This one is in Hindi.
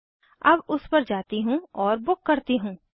अब उस पर जाती हूँ और बुक करती हूँ